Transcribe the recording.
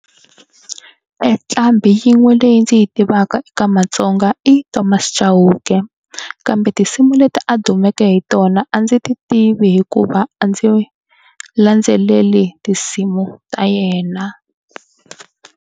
E nqambi yin'we leyi ndzi yi tivaka eka matsonga i Thomas Chauke kambe tinsimu leti a dumeke hi tona a ndzi ti tivi hikuva a ndzi landzeleli tinsimu ta yena.